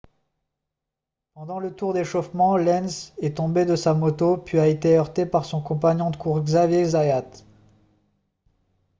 pendant le tour d'échauffement lenz est tombé de sa moto puis a été heurté par son compagnon de course xavier zayat